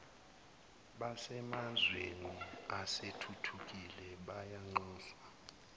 basemazweni asethuthukile bayanxuswa